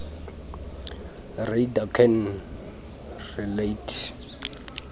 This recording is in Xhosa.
reader can relate